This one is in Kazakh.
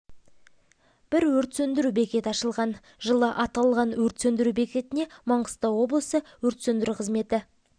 бір өрт сөндіру бекеті ашылған жылы аталған өрт сөндіру бекетіне маңғыстау облысы өрт сөндіру қызметі